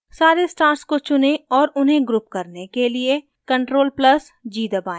सारे stars को चुनें और उन्हें group करने के लिए ctrl + g दबाएं